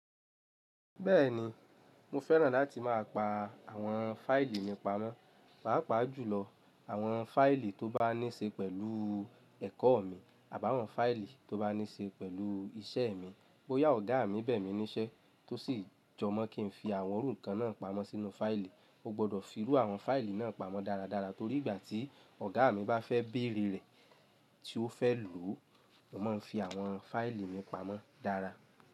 Bẹ́ẹ̀ni, mo fẹ́ràn láti máa pa àwọn fáìlì mi pamọ́. Pàápàá jùlọ àwọn fáìlì tó bá ní ṣe pẹ̀lú ẹ̀kọ́ mi àbá àwọn fáìlì tó bá ní ṣe pẹ̀lú iṣẹ́ mi. Ó yá ọ̀gá mi bẹ̀ mí níṣẹ́ tó sì jọmọ́ kí n fi àwọn irú nkan náà pamọ́ sínú fáìlì. O gbọdọ̀ fi irú àwọn fáìlì náà pamọ́ dáradára torí ìgbà tí ọ̀gá mi bá fẹ́ bèrè rẹ̀ tí o fẹ́ lò, mo máa ń fi àwọn fáìlì mi pamọ́ dára.